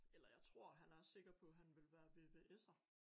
Eller jeg tror han er sikker på han vil være VVS'er